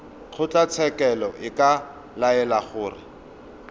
kgotlatshekelo e ka laela gore